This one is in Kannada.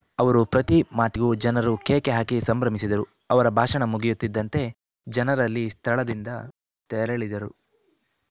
ಅವರು ಪ್ರತಿ ಮಾತಿಗೂ ಜನರು ಕೇಕೆ ಹಾಕಿ ಸಂಭ್ರಮಿಸಿದರು ಅವರ ಭಾಷಣ ಮುಗಿಯುತ್ತಿದ್ದಂತೆ ಜನರಲ್ಲಿ ಸ್ಥಳದಿಂದ ತೆರಳಿದರು